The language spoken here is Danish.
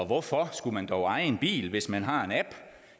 hvorfor skulle man dog eje en bil hvis man har en app